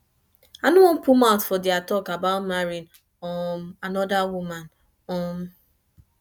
i no wan put mouth for their talk about marrying um another woman um